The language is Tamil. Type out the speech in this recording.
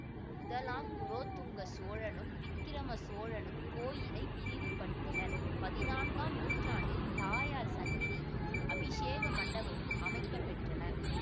முதலாம் குலோத்துங்க சோழனும் விக்கிரம சோழனும் கோயிலை விரிவுபடுத்தினர் பதினான்காம் நூற்றாண்டில் தாயார் சன்னதியும் அபிஷேக மண்டபமும் அமைக்கப்பெற்றன